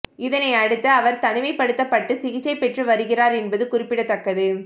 இதனை அடுத்து அவர் தனிமைப்படுத்தப்பட்டு சிகிச்சை பெற்று வருகிறார் என்பது குறிப்பிடத்தக்கது